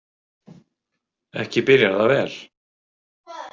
Ekki byrjar það vel.